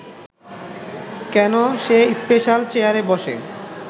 কেন সে স্পেশাল চেয়ারে বসে